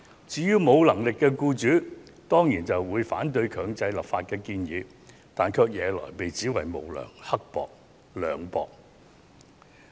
至於沒有能力的僱主，他們當然反對強制立法的建議，但卻被指責為無良、刻薄。